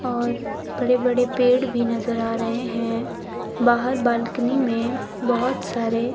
और बड़े बड़े पेड़ भी नजर आ रहे हैं बाहर बालकनी में बहोत सारे--